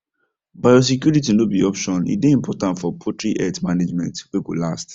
biosecurity no be option e dey important for poultry health management way go last